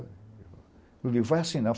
O vai assinar?